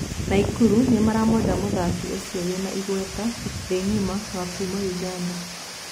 Naikuru nĩ maramwenda mũthaki ũcio wĩna igweta thĩ ngima wa kuma Ũganda.